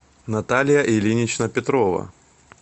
наталья ильинична петрова